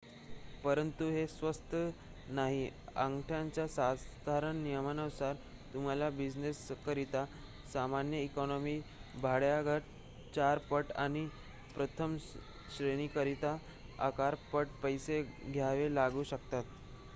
परंतु हे स्वस्त नाहीः अंगठ्याच्या साधारण नियमानुसार तुम्हाला बिझिनेसकरिता सामान्य इकॉनॉमी भाड्याच्या 4 पट आणि प्रथम श्रेणीकरिता अकरा पट पैसे द्यावे लागू शकतात